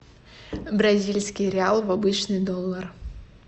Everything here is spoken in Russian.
бразильский реал в обычный доллар